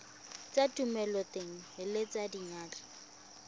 tsa thomeloteng le tsa diyantle